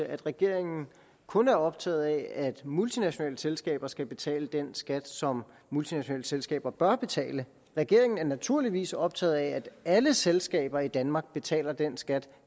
at regeringen kun er optaget af at multinationale selskaber skal betale den skat som multinationale selskaber bør betale regeringen er naturligvis optaget af at alle selskaber i danmark betaler den skat